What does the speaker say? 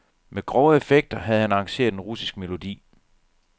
Med grove effekter havde han arrangeret en russisk melodi.